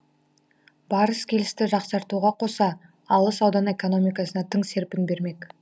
барыс келісті жақсартуға қоса алыс аудан экономикасына тың серпін бермек